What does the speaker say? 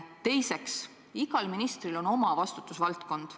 Teiseks, igal ministril on oma vastutusvaldkond.